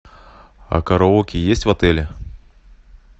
а караоке есть в отеле